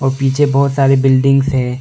और पीछे बहुत सारे बिल्डिंग्स है।